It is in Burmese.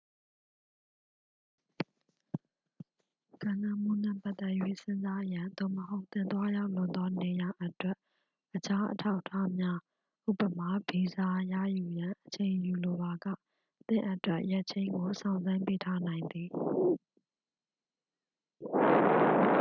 ကမ်းလှမ်းမှုနှင့် ပတ်သက်၍ စဉ်းစားရန် သို့မဟုတ် သင်သွားရောက်လိုသော နေရာာအတွက် အခြားအထောက်အထားများ ဥပမာ- ဗီဇာ ရယူရန် အချိန်ယူလိုပါက သင့်အတွက် ရက်ချိန်းကို စောင့်ဆိုင်းပေးထားနိုင်သည်။